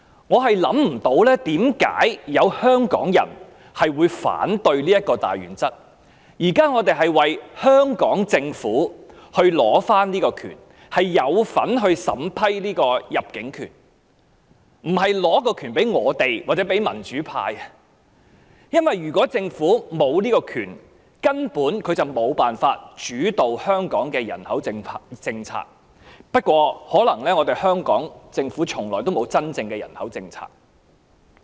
我想不通為何有香港人會反對這項大原則，我們現在為香港政府爭取這種權利，可以參與審批單程證，而不是將審批權力給予我們或民主派人士，因為如果香港政府沒有審批單程證權力，便根本無法主導香港的人口政策；不過，可能香港政府從來也沒有真正的人口政策。